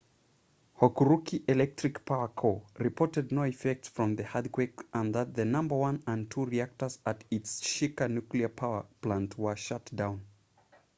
hokuriku electric power co reported no effects from the earthquake and that the number 1 and 2 reactors at its shika nuclear power plant were shut down